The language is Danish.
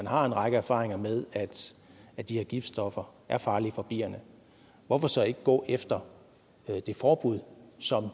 har en række erfaringer med at de her giftstoffer er farlige for bierne hvorfor så ikke gå efter det forbud som